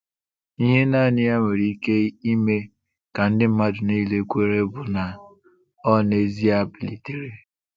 Ihe naanị ya nwere ike ime ka ndị mmadụ niile kwere bụ na ọ n’ezie bilitere.